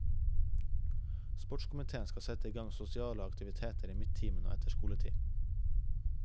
Sportskomiteen skal sette igang sosiale aktiviteter i midtimen og etter skoletid.